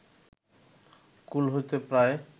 কূল হইতে প্রায়